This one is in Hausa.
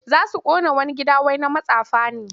Za su ƙona wani gida wai na matsafa ne.